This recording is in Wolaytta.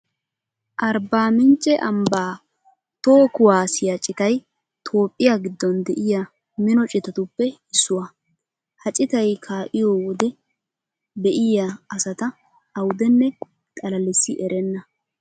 Arbbaa mincce ambbaa toho kuwaasiya citay toophphiya giddon de'iya mino citatuppe issuwa. Ha citay kaa'iyo wode be'iya asata awudenne xalalissi erenna.